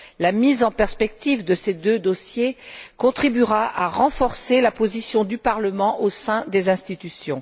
La mise en perspective de ces deux dossiers contribuera à renforcer la position du Parlement au sein des institutions.